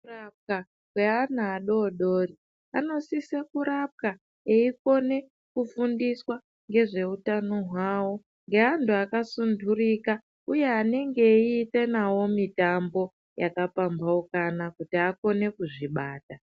Kurapwa kweana adodori anosise kurapwa eikone kufundiswa ngezveutano hwavo ngeantu akasundurika uye anenge eeita nawo mitambo yakapambaukana kuti akone kuzvibata.